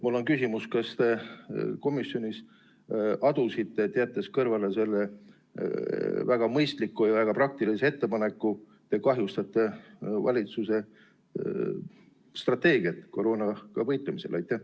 Mul on küsimus: kas te komisjonis adusite, et jättes kõrvale selle väga mõistliku ja väga praktilise ettepaneku, kahjustate te valitsuse strateegiat koroonaga võitlemisel?